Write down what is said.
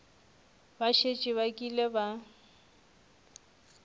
ba šetše ba kile ba